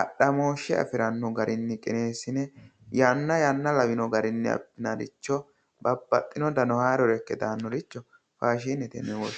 adhamoshe afirano garinni qinesine yanna yanna lawino garinni babbaxeyo garo ikke daanoricho faashinete yinne woshshinanni.